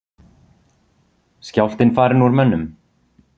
Skjálftinn farinn úr mönnum?